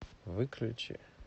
выключи